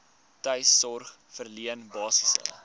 tuissorg verleen basiese